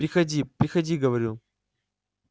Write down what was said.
приходи приходи говорю